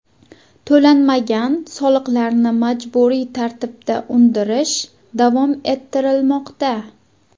To‘lanmagan soliqlarni majburiy tartibda undirish davom ettirilmoqda.